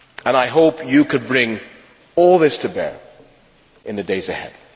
I hope you can bring all this to bear in the days ahead.